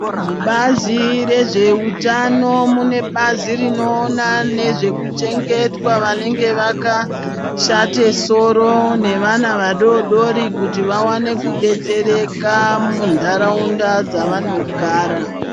Mubazi rezveutano mune bazi rinoona nezvekuchengetwa vanenge vakashate soro nevana vadodori kuti vawane kudetsereka muntaraunda dzavanogara.